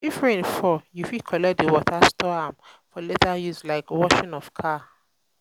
if rain fall you fit collect di water store am for later use like washing of car